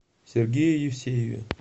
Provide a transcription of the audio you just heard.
сергее евсееве